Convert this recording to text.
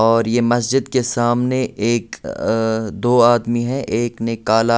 और ये मस्जिद के सामने एक दो आदमी हैं एक ने काला--